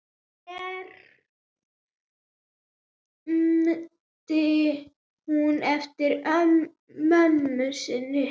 hermdi hún eftir mömmu sinni.